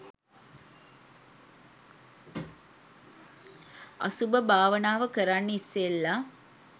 අසුභ භාවනාව කරන්න ඉස්සෙල්ල